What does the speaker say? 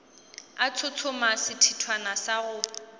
a tshotshoma sethithwana sa go